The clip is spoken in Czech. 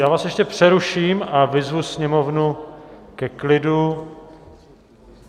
Já vás ještě přeruším a vyzvu sněmovnu ke klidu.